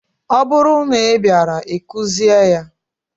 Ọ bụrụ na ị bịaara, ị kụzie ya!